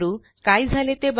काय झाले ते बघा